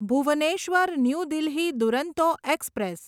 Bhubaneswar new Delhi Duronto express